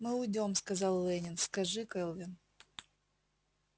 мы уйдём сказал лэннинг скажи кэлвин